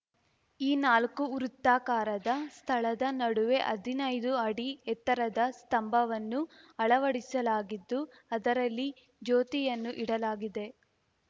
ಈ ನಾಲ್ಕು ವೃತ್ತಾಕಾರದ ಸ್ಥಳದ ನಡುವೆ ಹದಿನೈದು ಅಡಿ ಎತ್ತರದ ಸ್ತಂಭವನ್ನು ಅಳವಡಿಸಲಾಗಿದ್ದು ಅದರಲ್ಲಿ ಜ್ಯೋತಿಯನ್ನು ಇಡಲಾಗಿದೆ